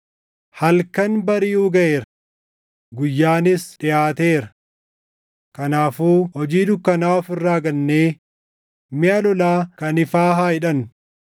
Halkan bariʼuu gaʼeera; guyyaanis dhiʼaateera. Kanaafuu hojii dukkanaa of irraa gannee miʼa lolaa kan ifaa haa hidhannu.